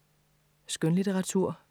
Skønlitteratur